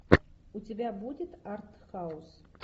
у тебя будет артхаус